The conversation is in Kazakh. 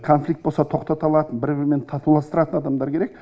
конфликті болса тоқтата алатын бір бірімен татуластыратын адамдар керек